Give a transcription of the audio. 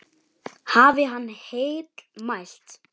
Hafi hann heill mælt.